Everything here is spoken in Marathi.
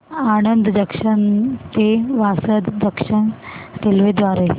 आणंद जंक्शन ते वासद जंक्शन रेल्वे द्वारे